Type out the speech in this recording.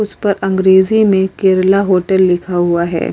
उसपर अंग्रेजी में केरेला होटल लिखा हुआ है।